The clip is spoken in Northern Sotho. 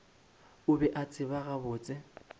o be a tseba gabotse